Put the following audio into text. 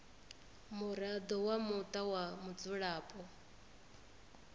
muraḓo wa muṱa wa mudzulapo